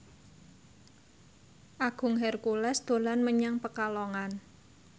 Agung Hercules dolan menyang Pekalongan